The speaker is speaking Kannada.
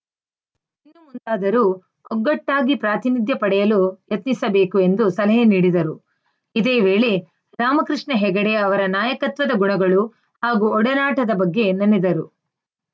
ಇನ್ನು ಮುಂದಾದರೂ ಒಗ್ಗಟ್ಟಾಗಿ ಪ್ರಾತಿನಿಧ್ಯ ಪಡೆಯಲು ಯತ್ನಿಸಬೇಕು ಎಂದು ಸಲಹೆ ನೀಡಿದರು ಇದೇ ವೇಳೆ ರಾಮಕೃಷ್ಣ ಹೆಗಡೆ ಅವರ ನಾಯಕತ್ವದ ಗುಣಗಳು ಹಾಗೂ ಒಡನಾಟದ ಬಗ್ಗೆ ನೆನೆದರು